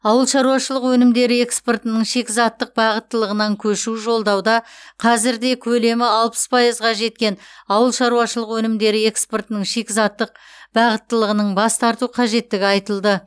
ауыл шаруашылығы өнімдері экспортының шикізаттық бағыттылығынан көшу жолдауда қазірде көлемі алпыс пайызға жеткен ауыл шаруашылығы өнімдері экспортының шикізаттық бағыттылығының бас тарту қажеттігі айтылды